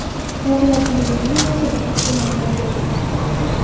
Davlat televideniyesi batafsil ma’lumot bermadi.